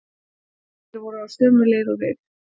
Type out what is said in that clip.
Þeir voru á sömu leið og við.